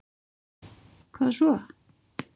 hvað svo?